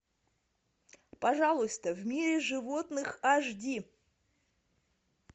пожалуйста в мире животных аш ди